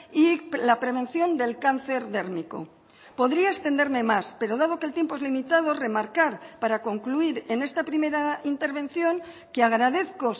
y la prevención del cáncer dérmico podría extenderme más pero dado que el tiempo es limitado remarcar para concluir en esta primera intervención que agradezco